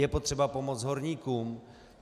Je potřeba pomoc horníkům.